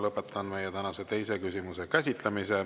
Lõpetan meie tänase teise küsimuse käsitlemise.